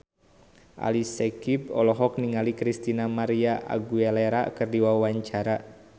Ali Syakieb olohok ningali Christina María Aguilera keur diwawancara